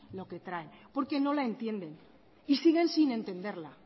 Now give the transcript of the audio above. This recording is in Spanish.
lo que traen porque no la entienden y siguen sin entenderla